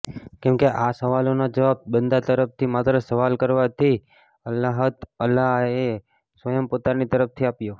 કેમકે આ સવાલોના જવાબ બંદા તરફથી માત્ર સવાલ કરવાથી અલ્લાહતઆલાએ સ્વયં પોતાની તરફથી આપ્યો